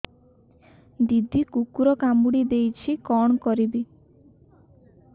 ଦିଦି କୁକୁର କାମୁଡି ଦେଇଛି କଣ କରିବି